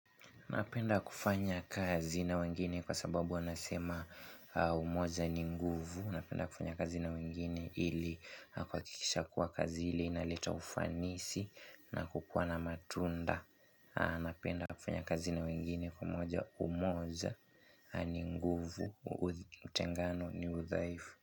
Napenda kufanya kazi na wengine kwa sababu wanasema umoja ni nguvu. Napenda kufanya kazi na wengine ili kuhakikisha kuwa kazi ili inaleta ufanisi na kukuwa na matunda. Napenda kufanya kazi na wengine kwa umoja ni nguvu. Utengano ni udhaifu.